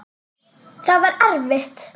Það var erfitt.